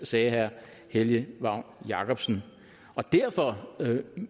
sagde herre helge vagn jacobsen derfor